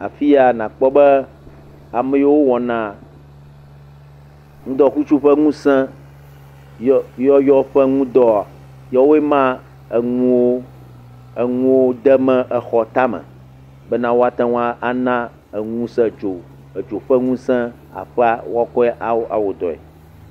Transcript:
Afia, nàkpɔ be ame yiwo wɔna ŋdɔkutsu ƒe ŋusẽyyɔyɔ ƒe ŋu dɔa, yawoe ma eŋuwo, eŋuwo demee exɔ tame. Bena woate ŋu ana eŋusẽ dzo. Edzo ƒe ŋusẽ aƒea bena woakɔ akɔ wɔ dɔe.